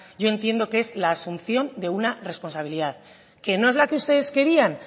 yo entiendo que es la asunción de una responsabilidad que no es la que ustedes querían